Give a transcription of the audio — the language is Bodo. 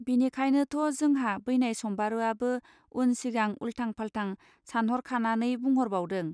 बिनिखायनोथ जोंहा बैनाय सम्बारूआबो उन सिंगा उल्थांफालथां सानहरखानानै बुंहरबावदों.